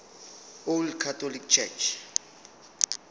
old catholic church